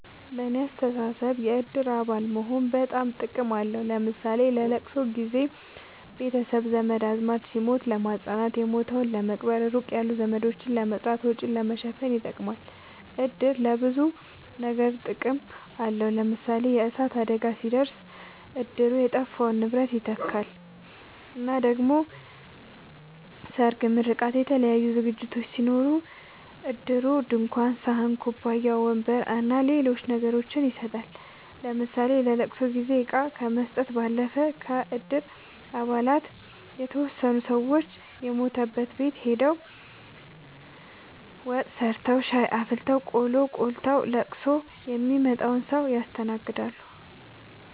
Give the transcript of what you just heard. በኔ አስተሳሰብ የእድር አባል መሆን በጣም ጥቅም አለዉ ለምሳሌ ለለቅሶ ጊዘ ቤተሰብ ዘመድአዝማድ ሲሞት ለማጽናናት የሞተዉን ለመቅበር ሩቅ ያሉ ዘመዶችን ለመጥራት ወጪን ለመሸፈን ይጠቅማል። እድር ለብዙ ነገር ጥቅም አለዉ ለምሳሌ የእሳት አደጋ ሲደርስ እድሩ የጠፋውን ንብረት ይተካል እና ደሞ ሰርግ ምርቃት የተለያዩ ዝግጅቶች ሲኖሩ እድሩ ድንኳን ሰሀን ኩባያ ወንበር አና ሌሎች ነገሮችን ይሰጣል ለምሳሌ ለለቅሶ ጊዜ እቃ ከመስጠት ባለፈ ከእድር አባላት የተወሰኑት ሰወች የሞተበት ቤት ሆደው ወጥ ሰርተዉ ሻይ አፍልተው ቆሎ ቆልተዉ ለቅሶ ሚመጣዉን ሰዉ ያስተናግዳሉ።